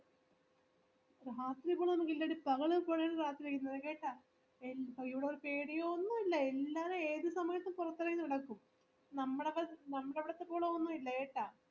ഇല്ലടി പകൽ പോലെയാണ് രാത്രി ന്നത് കെട്ടാ ഇവിടേക്കു എടയോ ഒന്നുമില്ല എല്ലാരും ഏതുസമയത്തും പുറത്തിറങ്ങി നടക്കും നമ്മടെ നമ്മടെ അവിടത്തെ പോലെയൊന്നുമില്ല കേട്ടാ